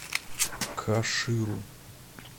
каширу